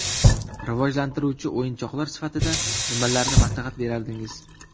Rivojlantiruvchi o‘yinchoqlar sifatida nimalarni maslahat brardingiz?